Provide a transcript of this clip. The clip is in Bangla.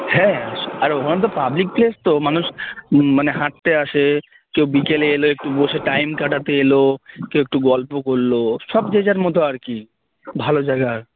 হ্যাঁ আর ওখানে public place তো মানুষ মানে হাঁটতে আসে কেউ বিকেলে এলো একটু বসে time কাটাতে এলো কেউ একটু গল্প করলো সব যে যার মত আরকি ভালো জায়গা